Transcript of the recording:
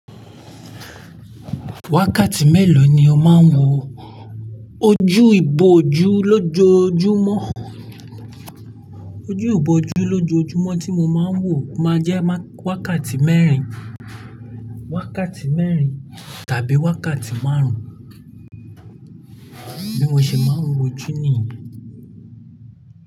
Wákàtí mélòó ni o máa ń wo ojú ìbòjú lójoojúmọ́? Ojú ìbòjú lójoojúmọ́ tí mo máa ń wò máa jẹ́ wákàtí mẹ́rin, wákàtí mẹ́rin tàbí wákàtí márùn-ún. Bí mo ṣe máa ń wo jù níyì.